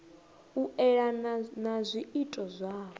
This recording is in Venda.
u elana na zwiito zwavho